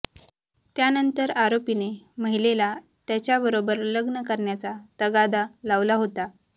त्यानंतर आरोपीने महिलेला त्याच्याबरोबर लग्न करण्याचा तगादा लावला होता